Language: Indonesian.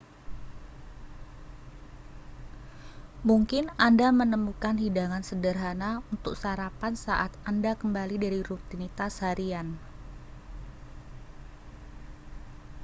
mungkin anda akan menemukan hidangan sederhana untuk sarapan saat anda kembali dari rutinitas harian